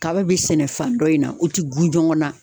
Kaba be sɛnɛ fan dɔ in na o ti gun ɲɔgɔn na